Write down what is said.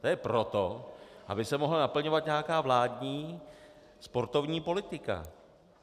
To je proto, aby se mohla naplňovat nějaká vládní sportovní politika.